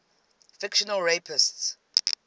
fictional rapists